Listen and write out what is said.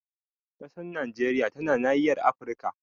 Ƙasar Najeriya tana nahiyar Afirka.